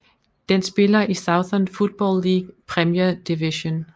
Den spiller i Southern Football League Premier Division